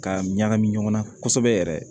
Ka ɲagami ɲɔgɔn na kosɛbɛ yɛrɛ